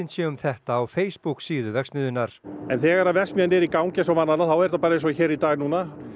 sé um þetta á verksmiðjunnar en þegar verksmiðjan er í gangi eins og vanalega þá er þetta bara eins og í dag núna